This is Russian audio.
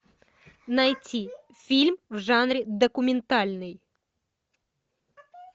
найти фильм в жанре документальный